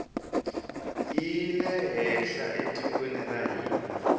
yile henhla etikweni ra hina